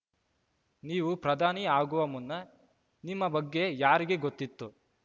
ನೀವು ಪ್ರಧಾನಿ ಆಗುವ ಮುನ್ನ ನಿಮ್ಮ ಬಗ್ಗೆ ಯಾರಿಗೆ ಗೊತ್ತಿತ್ತು